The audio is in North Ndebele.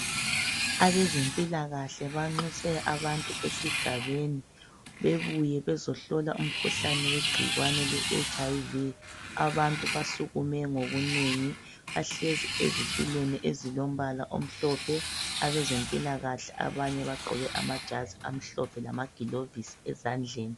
Abezempilakahle banxuse abantu esigabeni, bebuye bezohlola umkhuhlane wegcikwane le etshi ayi vi. Abantu basukume ngobunengi. Bahlezi ezitulweni ezilombala omhlophe. Abezempilakahle abanye bagqoke amajazi amhlophe lamagilovisi ezandleni.